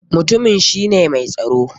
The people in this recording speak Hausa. Mutumin shi ne mai tsaro?